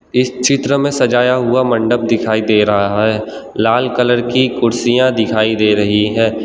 इस चित्र में सजाया हुआ मंडप दिखाई दे रहा है लाल कलर की कुर्सियां दिखाई दे रही हैं।